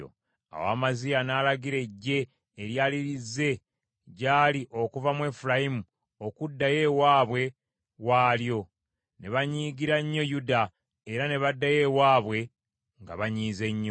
Awo Amaziya n’alagira eggye eryali lizze gy’ali okuva mu Efulayimu okuddayo ewaabwe waalyo. Ne banyiigira nnyo Yuda, era ne baddayo ewaabwe nga banyiize nnyo.